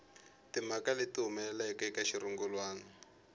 timhaka leti humelelaka eka xirungulwana